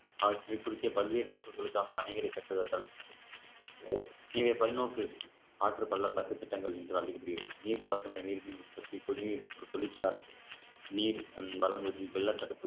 அவற்றின் குறுக்கே பல்வேறு நோக்கங்களுக்காக அணைகளை கட்டுவதால் இதை பல்நோக்கு ஆற்று பள்ளத்தாக்கு திட்டங்கள் என்றால் நீர்ப்பாசன நீர்மின் உற்பத்தி குடிநீர் மற்றும் தொழிற்சாலை நீர் வழங்குவதில் வெள்ளத்தடுப்பு